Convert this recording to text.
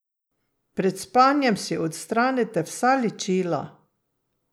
Pred spanjem si odstranite vsa ličila!